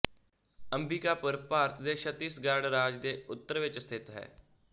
ਅੰਬਿਕਾਪੁਰ ਭਾਰਤ ਦੇ ਛੱਤੀਸਗੜ ਰਾਜ ਦੇ ਉੱਤਰ ਵਿੱਚ ਸਥਿਤ ਹੈ